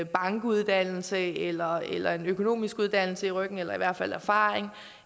bankuddannelse eller eller en økonomisk uddannelse i ryggen eller i hvert fald erfaring